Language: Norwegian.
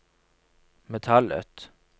metallet